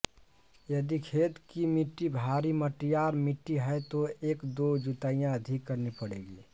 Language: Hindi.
यदि खेत की मिट्टी भारी मटियार मिट्टी है तो एक दो जुताइयां अधिक करनी पड़ेंगी